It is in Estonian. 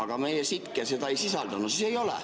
... aga meie ... seda ei sisaldanud, siis ei ole.